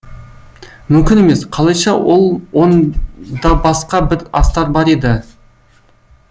мүмкін емес қалайша ол онда басқа бір астар бар еді